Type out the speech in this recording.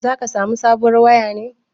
Zaka samo sabuwar waya ne?